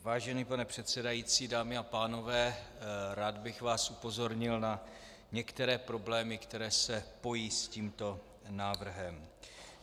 Vážený pane předsedající, dámy a pánové, rád bych vás upozornil na některé problémy, které se pojí s tímto návrhem.